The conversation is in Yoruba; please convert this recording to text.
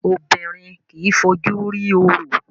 Obìnrin kìí fojú rí orò